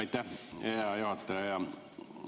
Aitäh, hea juhataja!